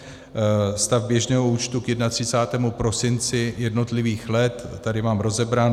Stav běžného účtu k 31. prosinci jednotlivých let, tady mám rozebrán.